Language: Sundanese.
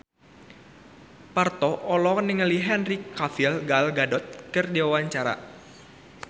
Parto olohok ningali Henry Cavill Gal Gadot keur diwawancara